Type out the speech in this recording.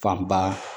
Fanba